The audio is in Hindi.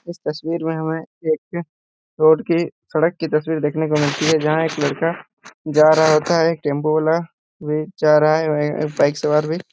इस तस्वीर में हमें एक रोड की सड़क की तस्वीर देखने को मिलती है जहां एक लड़का जा रहा होता है टेंपो वाला भी जा रहा है वही एक बाइक सवार भी --